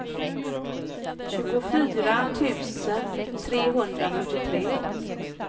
tjugofyra tusen trehundrafyrtiotre